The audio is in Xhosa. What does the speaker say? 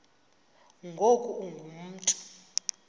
ngoku ungu mntu